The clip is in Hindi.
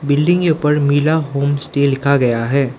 बिल्डिंग के ऊपर मिला होम स्टे लिखा गया है।